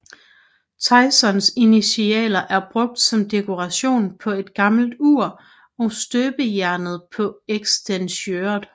Tysons initialer er brugt som dekoration på et gammelt ur og støbejernet på eksteriøret